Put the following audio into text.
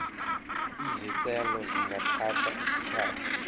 izicelo zingathatha isikhathi